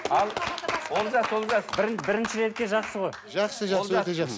ал олжас олжас бірінші ретке жақсы ғой жақсы жақсы өте жақсы